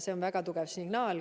See on väga tugev signaal.